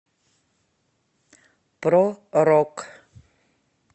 про рок